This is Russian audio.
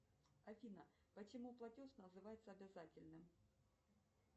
афина почему платеж называется обязательным